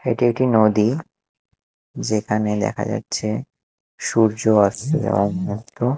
এটি একটি নদী যেখানে দেখা যাচ্ছে সূর্য অস্ত যাওয়ার মতো।